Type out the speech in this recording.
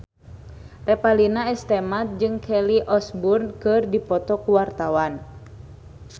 Revalina S. Temat jeung Kelly Osbourne keur dipoto ku wartawan